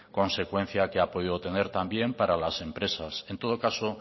consecuencia que ha podido tener también para las empresas en todo caso